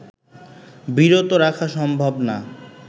বিরত রাখা সম্ভব না